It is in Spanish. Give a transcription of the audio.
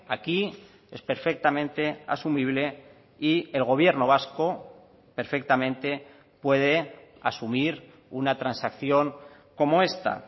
aquí es perfectamente asumible y el gobierno vasco perfectamente puede asumir una transacción como esta